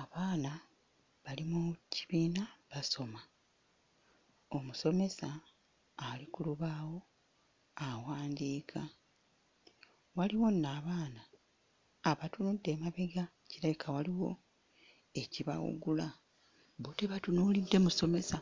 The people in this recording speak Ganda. Abaana bali mu kibiina basoma. Omusomesa ali ku lubaawo awandiika. Waliwo nno abaana abatunudde emabega kirabika waliwo ekibawugula. Bo tebatunuulidde musomesa,